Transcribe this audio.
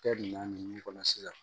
Kɛ ɲuman kɔnɔ sisan